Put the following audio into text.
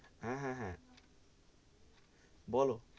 হেঁ, হেঁ, হেঁ, বলো,